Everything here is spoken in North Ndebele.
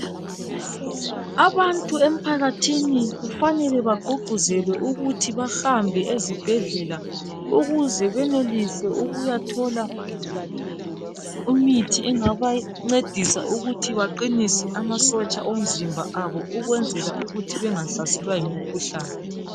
Abantu emphakathini kufanele bagqugquzelwe ukuthi bahambe ezibhedlela ukuze benelise ukuyithola imithi engabancedisa ukuthi baqinise amasotsha omzimba abo ukwenzela ukuthi bengahlaselwa yimikhuhlane.